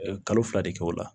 Kalo fila de kɛ o la